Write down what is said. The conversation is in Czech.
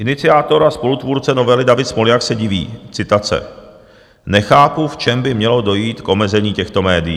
Iniciátor a spolutvůrce novely David Smoljak se diví - citace: Nechápu, v čem by mělo dojít k omezení těchto médií.